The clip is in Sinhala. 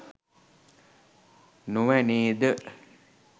නොවැ නේද?